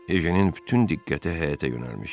Ejenin bütün diqqəti həyətə yönəlmişdi.